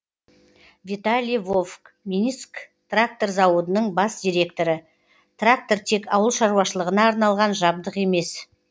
виталий вовк минск трактор зауытының бас директоры трактор тек ауыл шаруашылығына арналған жабдық емес